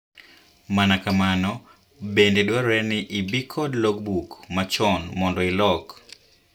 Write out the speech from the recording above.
Mana kamano endo dwarore ni ibii kod log book machon mondo ilok.